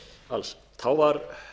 alls þá var